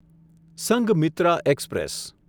Sanghamitra express